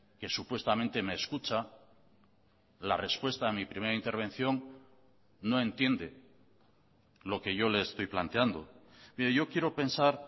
que supuestamente me escucha la respuesta a mi primera intervención no entiende lo que yo le estoy planteando mire yo quiero pensar